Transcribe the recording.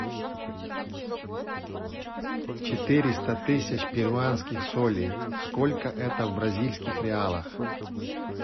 четыреста тысяч перуанских солей сколько это в бразильских реалах